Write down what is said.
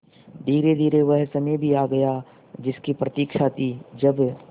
धीरेधीरे वह समय भी आ गया जिसकी प्रतिक्षा थी जब